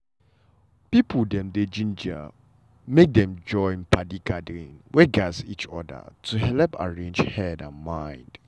people dem dey ginger make dem join padi gathering wey gatz each other to helep arrange head and mind.